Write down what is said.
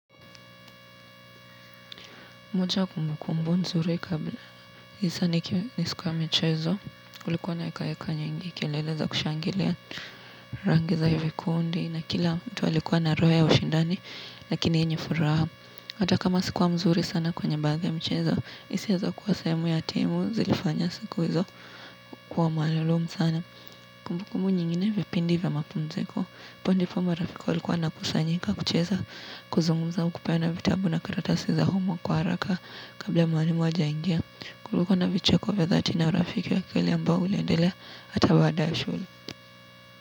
Moja kumbu kumbu nzuri kabla. Hiza nikiwa ni siku ya michezo. Ulikuwa na hekaheka nyingi. Kelele za kushangilia rangiza hivikundi. Na kila mtu alikuwa na roho ya ushindani. Lakini hii ni furaha. Hata kama sikuwa mzuri sana kwenye baadhi ya mchezo. Hisia za kuwa sehemu ya timu zilifanya siku hizo. Kwa maalilu msana. Kumbu kumbu nyingine vipindi vya mapumziko. Hapo ndipo marafiki walikuwa wanakusanyika kucheza. Kuzungumza au kupeana vitabu na karatasi za humo kwa haraka. Kabla mwalimu hajaingia kulikuwa na vicheko vya thati na urafiki wa kweli ambao uliendelea ata baada ya shule.